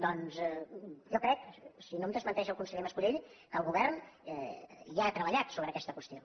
doncs jo crec si no em desmenteix el conseller mas·colell que el govern ja ha treba·llat sobre aquesta qüestió